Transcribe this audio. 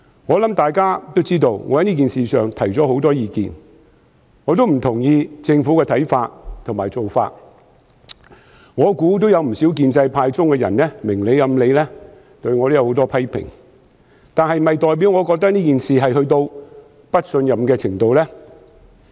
我想大家都知道，我在這件事情上提出了很多意見，我亦不認同政府的看法和做法，我猜想有不少建制派人士明裏暗裏對我有很多批評，但這是否代表我認為這件事達到不信任的程度呢？